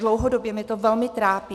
Dlouhodobě mě to velmi trápí.